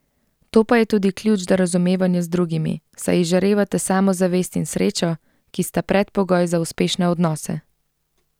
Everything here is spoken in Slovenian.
To pa je tudi ključ do razumevanja z drugimi, saj izžarevate samozavest in srečo, ki sta predpogoj za uspešne odnose.